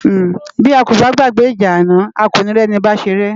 Bi á kó bá gbágbè ijá àná á ó ni ri èni bá séré